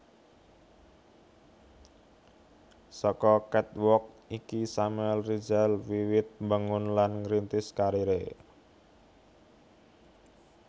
Saka catwalk iki Samuel Rizal wiwit mbangun lan ngrintis kariré